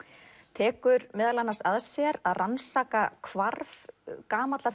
tekur meðal annars að sér að rannsaka hvarf gamallar